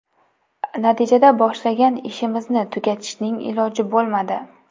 Natijada boshlagan ishimizni tugatishning iloji bo‘lmadi.